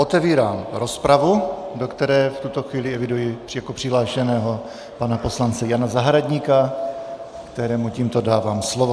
Otevírám rozpravu, do které v tuto chvíli eviduji jako přihlášeného pana poslance Jana Zahradníka, kterému tímto dávám slovo.